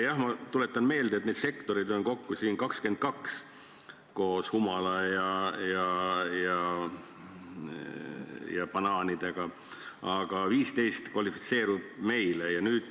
Jah, ma tuletan meelde, et neid sektoreid on kokku 22, koos humala ja banaanidega, aga 15 puhul me kvalifitseerume.